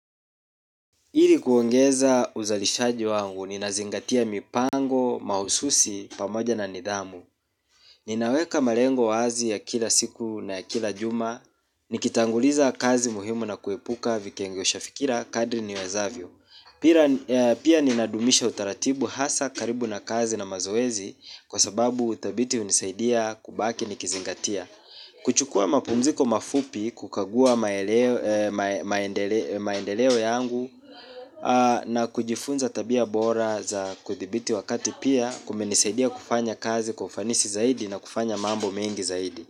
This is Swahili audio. Ili kuongeza uzalishaji wangu, ninazingatia mipango mahususi, pamoja na nidhamu. Ninaweka malengo wazi ya kila siku na ya kila juma, nikitanguliza kazi muhimu na kuepuka vikengeusha fikira kadri niwezavyo. Pia ninadumisha utaratibu hasa karibu na kazi na mazoezi, kwa sababu uthabiti hunisaidia kubaki nikizingatia. Kuchukua mapumziko mafupi kukagua maendeleo yangu, na kujifunza tabia bora za kuthibiti wakati pia kumenisaidia kufanya kazi kwa ufanisi zaidi na kufanya mambo mengi zaidi.